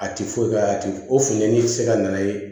A ti foyi k'a la a ti o funtɛni ti se ka na ye